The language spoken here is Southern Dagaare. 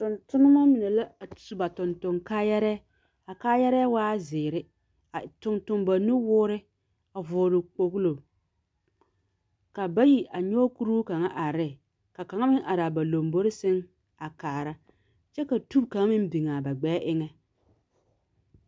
Tontonema mine la a sub a tontoŋ kaayɛrɛɛ. a kaayɛrɛɛ waa zeere. A tontoŋ ba nuwoore, a vɔgele kpogilo. Ka bayi a nyɔge kuruu kaŋa are ne ka kaŋa meŋ are a ba lambori seŋ a kaara kyɛ ka tub kaŋa meŋ biŋ a gbɛɛ eŋɛ.